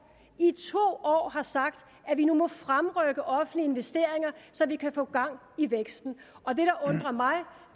i to år har sagt at vi nu må fremrykke offentlige investeringer så vi kan få gang i væksten og det der undrer mig